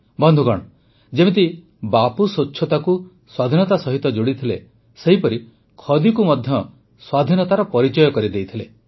ବନ୍ଧୁଗଣ ଯେମିତି ବାପୁ ସ୍ୱଚ୍ଛତାକୁ ସ୍ୱାଧୀନତା ସହିତ ଯୋଡ଼ିଥିଲେ ସେହିପରି ଖଦିକୁ ମଧ୍ୟ ସ୍ୱାଧୀନତାର ପରିଚୟ କରିଦେଇଥିଲେ